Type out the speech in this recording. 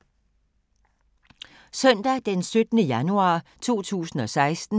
Søndag d. 17. januar 2016